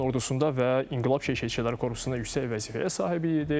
İran ordusunda və İnqilab Keşikçiləri Korpusunda yüksək vəzifəyə sahibi idi.